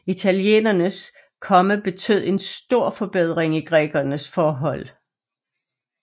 Italienernes komme betød en stor forbedring i grækernes forhold